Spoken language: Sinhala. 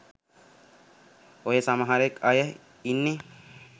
ඔය සමහරක් අය ඉන්නේ